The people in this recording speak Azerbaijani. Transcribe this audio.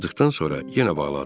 Çıxdıqdan sonra yenə bağladı.